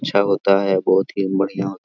अच्छा होता है बहुत ही बढ़िया होता --